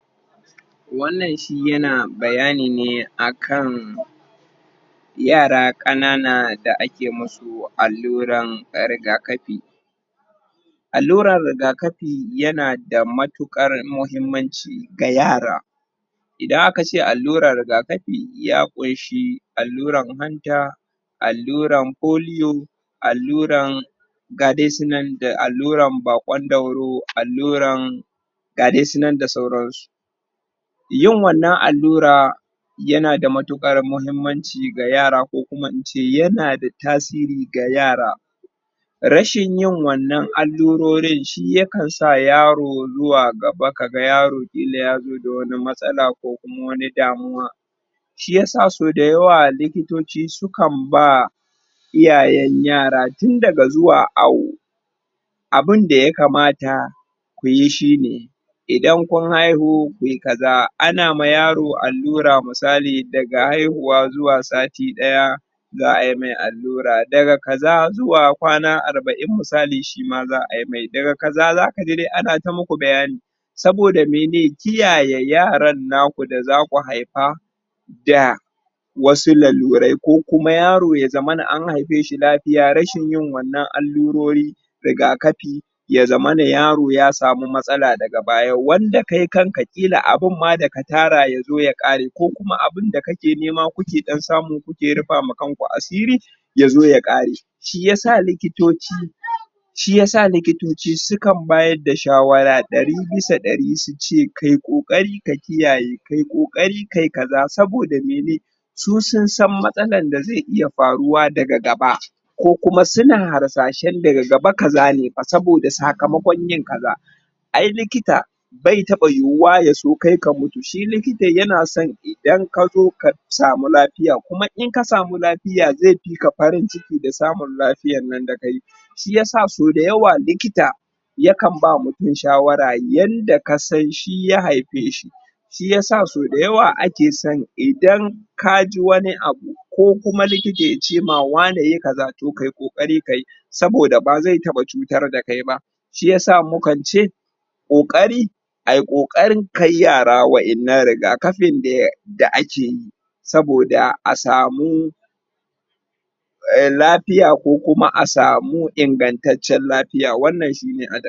wannan shi yana bayani ne akan yara kanana da akemusu alura rigakafi alura rigakafi yana da matukar muhimmanci ga yara idan aka ce alura rigakafi ya kunshi aluran hanta aluran polio, aluran ga dai su nan da aluran bakon dauro aluran ga dai su nan da sauran su yin wannan alura yana da matukar muhimmanci ga yara ko kuma in ce yana da tasiri ga yara rashin yin wannan alurorin shi yakan sa yaro zuwa gaba ka ga yaro kila ya zo da wani matsala ko kuma wanidamuwa shi ya sa so da yawa likitoci sukan ba iyayen yara tun daga zuwa awo abin da ya kamata ku yi shi ne idan kun yi haihu ku yi kaza anama yaro alura misali daga haihuwa zuwa sati daya za'a yi mai alura daga kaza zuwa kwana arbain misali shi ma za'a yi mai daga kaza dai zaga ga ana ta muku bayani soboda me ne? kiyaye yaran na ku da zaku haifa da wasu lalurai ko kuma yaro ya zamana an haife shi lafiya rashin yin wannan alurori rigakafi ya zaman yaro ya samu matsala daga baya wanda kai kanka kila abun ma daka tara ya zo ma ya kare ko kuma abun da kuke nema kuka dan samu kuke rufa ma kanku asiri ya zo ya kare shi yasa likitoci shi ya sa likitoci sukan bayar da shawara dari bisa dari su ce ka yi kokari ka kiyaye ka yi kokari ka yi kaza soboda me ne su sun sanmatsala da zai iya faruwa daga gaba ko kuma suna harsashen daga gaba kaza ne soboda sakamokon yin kaza ai likita bai taba yuwa ya soka mutu likita ya na son idan ka zo ka samu lafiya kuma in ka samu lafiya zai fi ka farin ciki da samun lafiyan nan dakayi shi ya sa so da yawa likita ya kan ba mutum shawara yanda ka san shi ya haife shi shi ya sa so da yawa in ake son idan ka ji wani abu ko kuma likita ya ce ma wane yi kaza tah kayi kokari ka yi soboda ba zai taba cutar d kai ba shi ya sa mukance kokari a yi kokari kai yara wayannan rigakafi da ya da ake yi soboda a samu lafiya ko kuma a samu ingantacen lafiya wannan shi ne